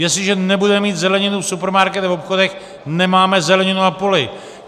Jestliže nebudeme mít zeleninu v supermarketu a obchodech, nemáme zeleninu na poli.